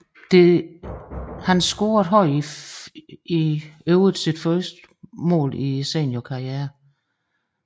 Her scorede han i øvrigt sit første mål i seniorkarrieren